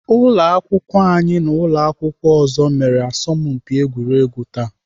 Ụlọakwụkwọ anyị na ụlọakwụkwọ ọzọ mere asọmpi egwuregwu taa